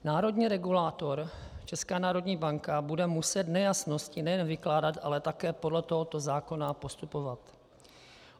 Národní regulátor, Česká národní banka, bude muset nejasnosti nejen vykládat, ale také podle tohoto zákona postupovat.